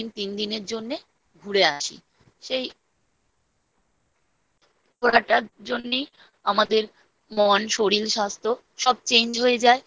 দুদিন তিন দিনের জন্যে ঘুরে আসি সেই। সেই ঘোরাটার জন্যই আমাদের মন শরীর স্বাস্থ্য সব